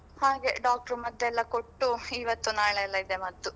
ಹಾಗೆ doctor ಮದ್ದೆಲ್ಲ ಕೊಟ್ಟು ಇವತ್ತು ನಾಳೆ ಎಲ್ಲ ಇದೆ ಮದ್ದು.